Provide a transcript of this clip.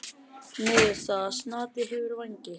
Niðurstaða: Snati hefur vængi.